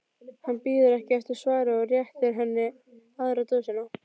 Hann bíður ekki eftir svari og réttir henni aðra dósina.